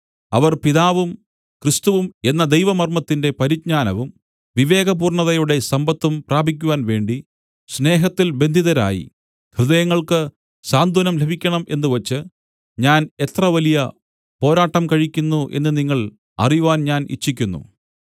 അവർ പിതാവും ക്രിസ്തുവും എന്ന ദൈവമർമ്മത്തിന്റെ പരിജ്ഞാനവും വിവേകപൂർണ്ണതയുടെ സമ്പത്തും പ്രാപിക്കുവാൻവേണ്ടി സ്നേഹത്തിൽ ബന്ധിതരായി ഹൃദയങ്ങൾക്ക് സാന്ത്വനം ലഭിക്കണം എന്നുവച്ച് ഞാൻ എത്ര വലിയ പോരാട്ടം കഴിക്കുന്നു എന്ന് നിങ്ങൾ അറിവാൻ ഞാൻ ഇച്ഛിക്കുന്നു